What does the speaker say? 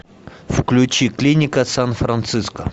включи клиника сан франциско